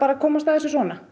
að komast að þessu svona